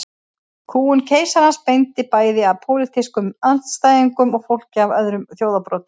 Kúgun keisarans beindist bæði gegn pólitískum andstæðingum og fólki af öðrum þjóðarbrotum.